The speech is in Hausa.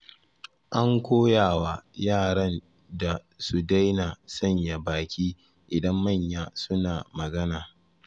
An koyawa yaran da su daina sanya baki idan manya suna magana.